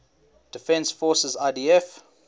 defense forces idf